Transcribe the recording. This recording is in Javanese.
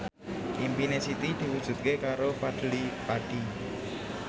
impine Siti diwujudke karo Fadly Padi